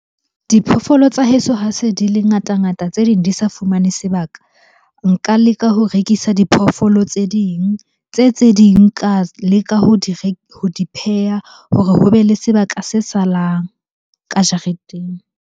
Diphoofolo tsa heso ha se di le ngata-ngata tse ding di sa fumane sebaka. Nka leka ho rekisa diphoofolo tse ding, tse tse ding ka leka ho di pheha hore ho be le sebaka se salang ka jareteng.